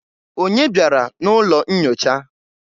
Onye bịara n'ụlọ nyocha?